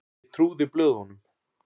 Ég trúði blöðunum.